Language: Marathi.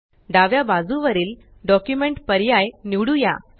डाव्या बाजू वरील डॉक्युमेंट पर्याय निवडुया